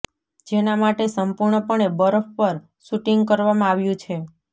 જેના માટે સંપૂર્ણપણે બરફ પર શૂટિંગ કરવામાં આવ્યું છે